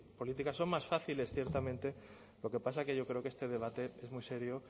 políticas son más fáciles ciertamente lo que pasa es que yo creo que este debate es muy serio